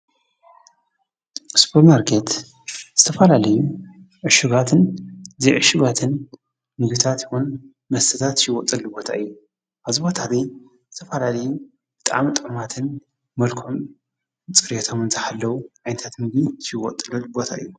ስፖር ማርኬት ዝተፈላለዩ ዕሹጋትን ዘይዕሹጋትን ምግብታት ይኩን መስተታት ዝሽየጠሉ ቦታ እዩ። ኣብዚ ቦታ እዚ ዝተፈላለዩ ብጣዕሚ ጥዑማትን መልክዖምን ፅርዮቶምን ዝሓለው ዓይነታት ምግቢ ዝሽየጠሉ ቦታ እዩ።